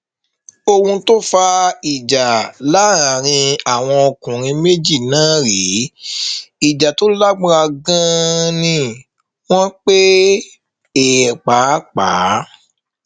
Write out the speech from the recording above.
ohun tó fa ìjà láàrin àwọn ọkùnrin méjì náà rèé ìjà tó lágbára ganan ni wọn pè é pàápàá